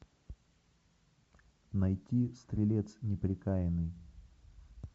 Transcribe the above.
найти стрелец неприкаянный